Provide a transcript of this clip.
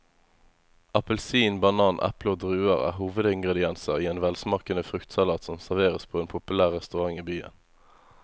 Appelsin, banan, eple og druer er hovedingredienser i en velsmakende fruktsalat som serveres på en populær restaurant i byen.